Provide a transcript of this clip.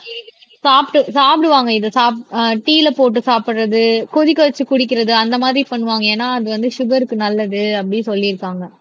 சாப்பிட்டு சாப்பிடுவாங்க இதை சாப் ஆஹ் டீயில போட்டு சாப்பிடுறது கொதிக்க வைச்சு குடிக்கிறது அந்த மாதிரி பண்ணுவாங்க ஏன்னா அது வந்து சுகர்க்கு நல்லது அப்படி சொல்லியிருக்காங்க